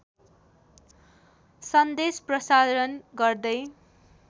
सन्देश प्रसारण गर्दै